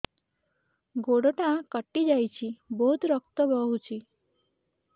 ଗୋଡ଼ଟା କଟି ଯାଇଛି ବହୁତ ରକ୍ତ ବହୁଛି